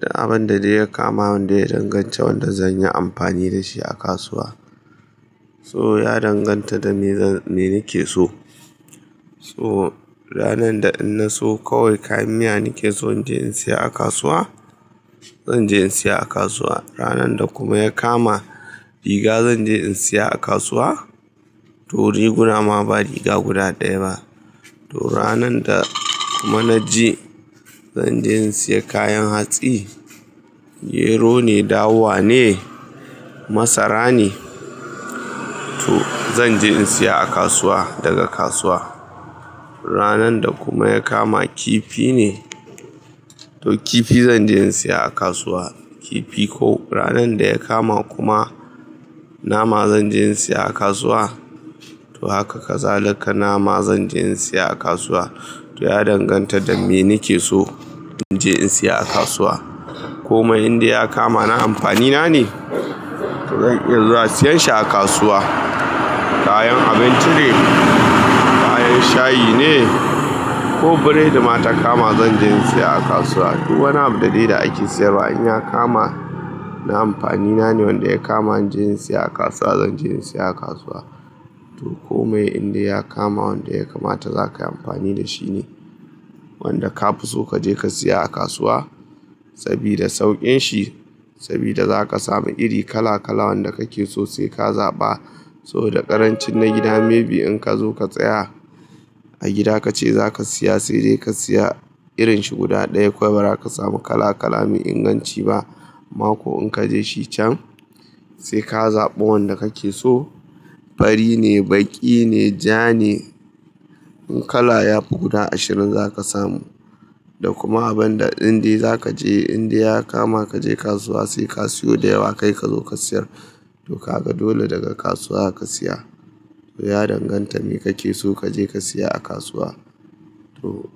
Duk abin da zai kama wanda ya danganta wanda zan yi amfani da shi a kasuwa. So ya danganta da me nake so. So ranan da in na so kawai kayan miya nake so in je in saya a kasuwa, zan je in saya a kasuwa. Ranan da kuma ya kama riga zan je in saya a kasuwa. To riguna ma ba riga guda ɗaya ba. To ranan da kuma na ji zan je in saya kayan hatsi, gero ne, dawa ne, masara ne, to zan je in saya a kasuwa daga kasuwa. Ranan da kuma ya kama kifi ne, to kifi zan je in saya a kasuwa. Kifi ko ranan da ya kama kuma nama zan je in saya a kasuwa. To haka kazalaka nama zan je in saya a kasuwa. To ya danganta da me nake so in je in saya a kasuwa. Kome inda ya kama na amfani na ne, zan iya zuwa siyan shi a kasuwa. Kayan abinci ne, kayan shayi ne ko biredi ma ta kama zan je in saya a kasuwa. Duk wani abu da dai da ake sayarwa in ya kama na amfani na ne wanda ya kama in je in saya a kasuwa zan je in saya a kasuwa. To kome inda ya kama wanda ya kama ta zaka yi amfani da shi ne wanda ka fi so ka je ka saya a kasuwa sabida saukin shi, sabida za ka samu iri kala kala wanda kake so sai ka zaɓa. So da ƙarancin na gida maybe in kazo ka tsaya a gida kace za ka siya sai dai ka siya irin shi guda ɗaya kuma ba za ka samu kala kala, mai inganci ba. Mako in kaje shi can sai ka zaɓa wanda kake so. Fari ne, baƙi ne, ja ne, kala ya fi guda ashirin za ka samu. Da kuma abin da dindai za ka je inda ya kama kaje kasuwa sai ka siyo da yawa kai kazo ka siyar. To ka ga dole daga kasuwa ka saya. To ya danganta me kake so kaje ka saya a kasuwa. To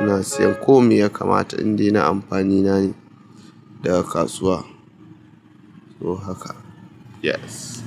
ina siyan kome ya kamata indai na amfani na ne daga kasuwa. To haka, yes.